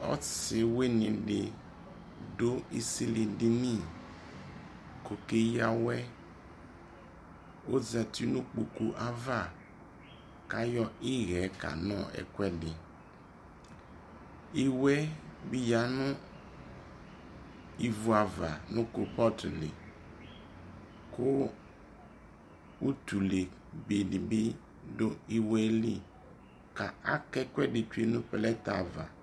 Ɔsi wini dι dʋ isili dini kʋ okeya awɛ Ozati nʋ ikpoku ava kʋ ayɔ iɣɛɛ kanɔ ɛkʋɛdι Iwe bι ya nʋ ivu avanʋ kulpɔtu likʋ utʋle be dι bι dʋ iwo yɛ lι ka akekple betsue nʋ plɛti ava